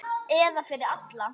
Eða fyrir alla.